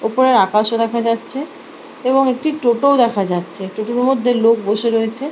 ওপরের আকাশও দেখা যাচ্ছে এবং একটি টোটো - ও দেখা যাচ্ছে টোটো - এর মধ্যে লোক বসে রয়েছে ।